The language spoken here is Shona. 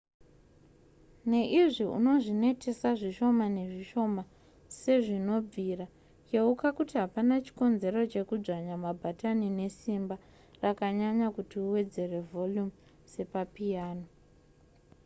neizvi unozvinetesa zvishoma nezvishoma sezvinobvira yeuka kuti hapana chikonzero chekudzvanya mabhatani nesimba rakanyanya kuti uwedzere vhorumu sepapiyano